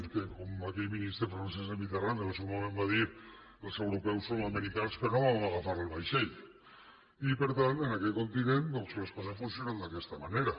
que com aquell ministre francès de mitterrand en el seu moment va dir els europeus som americans que no vam agafar el vaixell i per tant en aquest continent doncs les coses funcionen d’aquesta manera